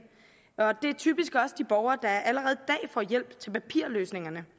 og det er typisk også de borgere der allerede i dag får hjælp til papirløsningerne